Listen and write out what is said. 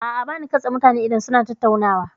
A'a, ba na katse mutane idan suna tattaunawa.